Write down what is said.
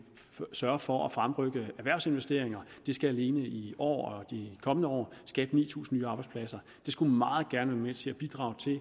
sørger for at fremrykke erhvervsinvesteringer det skal alene i år og i de kommende år skabe ni tusind nye arbejdspladser det skulle meget gerne være med til at bidrage til at